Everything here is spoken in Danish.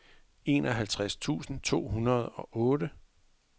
enoghalvtreds tusind to hundrede og otte